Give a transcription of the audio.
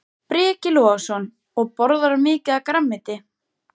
Breki Logason: Og borðarðu mikið af grænmeti?